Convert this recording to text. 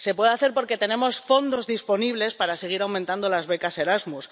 Se puede hacer porque tenemos fondos disponibles para seguir aumentando las becas Erasmus.